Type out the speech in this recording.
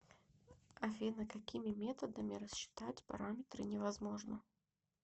афина какими методами расчитать параметры невозможно